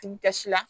Tigi tɛ si la